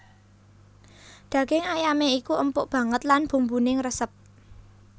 Daging ayamé iku empuk banget lan bumbuné ngresep